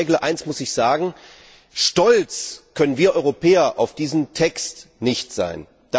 Aber, Frau Jeggle, eines muss ich sagen Stolz können wir Europäer auf diesen Text nicht sein.